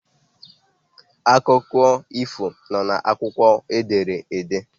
Akụkọ ifo nọ n'akwụkwọ ederede